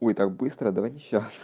ой так быстро давайте сейчас